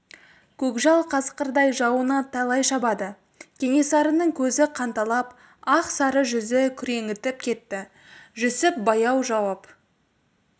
көкжал қасқырдай жауына талай шабады кенесарының көзі қанталап ақ сары жүзі күреңітіп кетті жүсіп баяу жауап